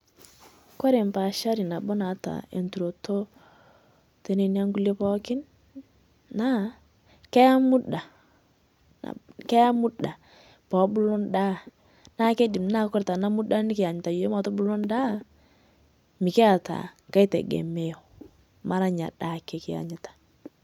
Kore paashari naboo naata enturoto tenenia nkulee pookin naa keeyaa mudaa, keiyaa mudaa poo obuluu ndaa. Naa keidiim naa kore tana mudaaa nikiyanyitaaa yook mootubuluu ndaa mikietaa nkaai tegemeo mara enia ndaa ake kiyaanyitaa.